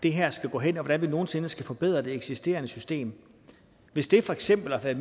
det her skal gå hen og hvordan vi nogen sinde skal forbedre det eksisterende system hvis det for eksempel at